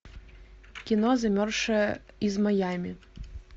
кино замерзшая из майами